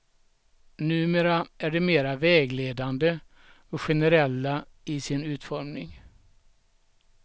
Numera är de mera vägledande och generella i sin utformning.